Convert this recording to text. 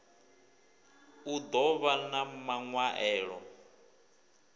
u ḓo vhan a maṅwaelo